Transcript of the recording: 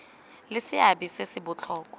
le seabe se se botlhokwa